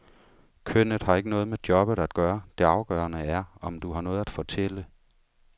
Kønnet har ikke noget med jobbet at gøre, det afgørende er, om du har noget at fortælle.